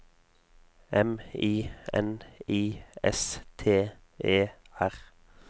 M I N I S T E R